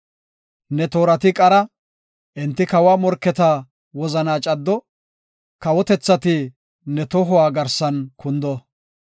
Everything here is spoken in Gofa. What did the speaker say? Ne toorati qara; enti kawa morketa wozanaa caddo; kawotethati ne tohuwa garsan kundo.